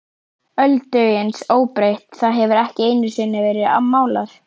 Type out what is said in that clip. Öldungis óbreytt, það hefur ekki einusinni verið málað.